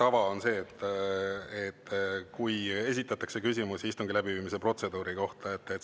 Hea tava on see, kui esitatakse küsimusi istungi läbiviimise protseduuri kohta.